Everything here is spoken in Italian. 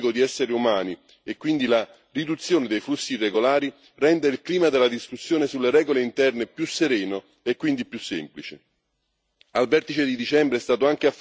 La mia speranza è che i successi nella lotta al traffico di esseri umani e quindi la riduzione dei flussi irregolari rendano il clima della discussione sulle regole interne più sereno e, quindi, più semplice.